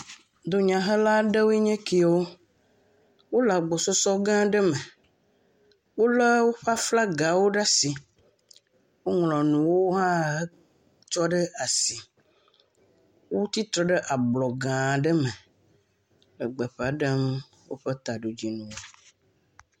Dunyahela ɖewoe nye kewo. Wo le agbɔsɔsɔ gã aɖe me. Wolɔ woƒe flagawo ɖe asi. Woŋlɔ nuwo hã etsɔ ɖe asi. Wotsitre ɖe abŋga aɖe me le gbeƒa ɖem woƒe taɖodzinu.